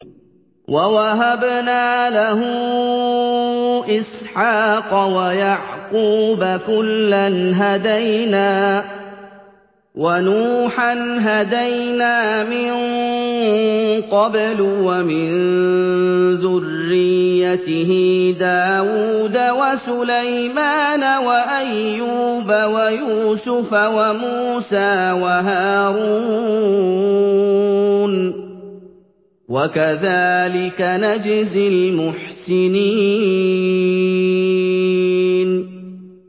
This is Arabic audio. وَوَهَبْنَا لَهُ إِسْحَاقَ وَيَعْقُوبَ ۚ كُلًّا هَدَيْنَا ۚ وَنُوحًا هَدَيْنَا مِن قَبْلُ ۖ وَمِن ذُرِّيَّتِهِ دَاوُودَ وَسُلَيْمَانَ وَأَيُّوبَ وَيُوسُفَ وَمُوسَىٰ وَهَارُونَ ۚ وَكَذَٰلِكَ نَجْزِي الْمُحْسِنِينَ